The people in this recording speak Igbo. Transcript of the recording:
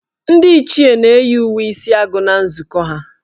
Ndị Ichie na-eyi uwe isi agụ ha na nzukọ.